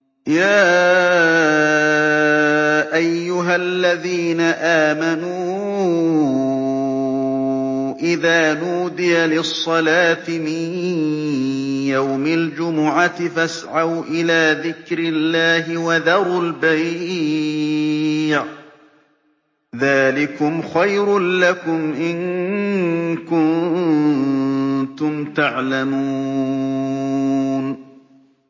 يَا أَيُّهَا الَّذِينَ آمَنُوا إِذَا نُودِيَ لِلصَّلَاةِ مِن يَوْمِ الْجُمُعَةِ فَاسْعَوْا إِلَىٰ ذِكْرِ اللَّهِ وَذَرُوا الْبَيْعَ ۚ ذَٰلِكُمْ خَيْرٌ لَّكُمْ إِن كُنتُمْ تَعْلَمُونَ